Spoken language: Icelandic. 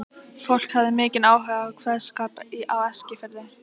Fólk hafði mikinn áhuga á kveðskap á Eskifirði.